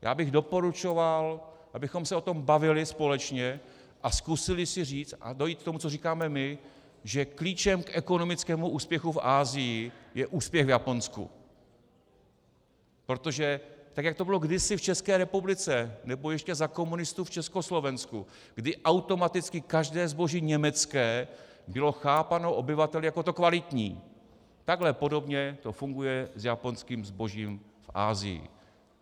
Já bych doporučoval, abychom se o tom bavili společně a zkusili si říct a dojít k tomu, co říkáme my, že klíčem k ekonomickému úspěchu v Asii je úspěch v Japonsku, protože tak jako to bylo kdysi v České republice nebo ještě za komunistů v Československu, kdy automaticky každé zboží německé bylo chápáno obyvateli jako to kvalitní, takhle podobně to funguje s japonským zbožím v Asii.